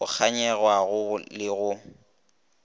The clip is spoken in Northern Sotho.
bo kganyogwago le ge go